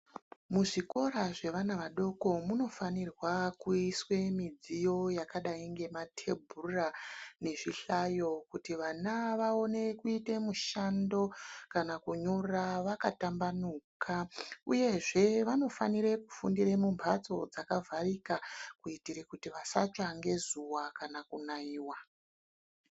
Muzvikora zvevana vadoko munofanirwa kuiswe midziyo yakadai ngematebhura nezvihlayo kuti vana vaone kuite mushando kana kunyora vakatambanuka, Uyezve vanofanire kufundire mumbatso dzakavharika kuitire kuti vasatsva ngezuwa kana kunaiwa.